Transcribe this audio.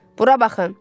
Bura baxın.